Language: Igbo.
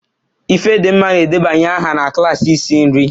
Ifedimma na-edebanye aha na klaasị isi nri